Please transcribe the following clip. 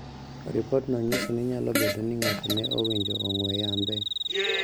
Ripodno nyiso ni nyalo bedo ni ng'ato ne owinjo ong`we yambe